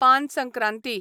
पान संक्रांती